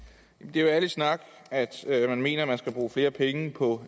det er jo ærlig snak at man mener man skal bruge flere penge på